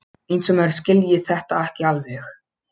Eins og maður skilji þetta ekki alveg!